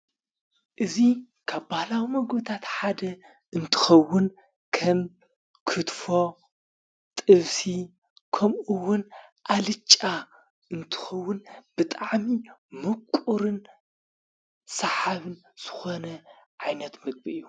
እዙይ ካብ ባላዊ መጐታት ሓደ እምትኸውን ከም ኲትፎ ጥፍሲ ከምኡዉን ኣልጫ እምትኸውን ብጣዓሚ ምቁርን ሰሓብን ስኾነ ዓይነት ምግቢ እዩ።